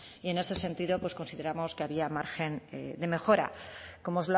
y en ese sentido pues consideramos que había margen de mejora como